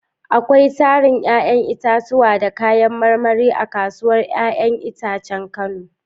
Akwai tarin 'ya'yan itatuwa da kayan marmari a kasuwar 'ya'yan itacen Kano.